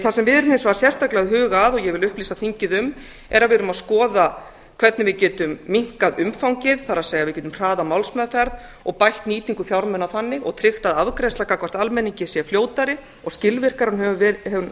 það sem við erum hins vegar sérstaklega að huga að og ég vil upplýsa þingið um er að við erum að skoða hvernig við getum minnkað umfangið það er við getum hraðað málsmeðferð og bætt nýtingu fjármuna þannig og tryggt að afgreiðsla gagnvart almenningi sé fljótari og skilvirkari en hún